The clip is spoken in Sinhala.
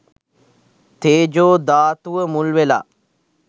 තේජෝ ධාතුව මුල් වෙලා.